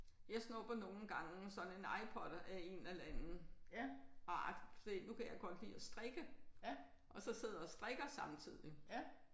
Jeg snupper nogle gange sådan en iPod af en eller anden. Og agtig nu kan jeg godt lide at strikke og så sidder og strikker samtidig